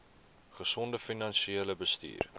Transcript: gesonde finansiële bestuur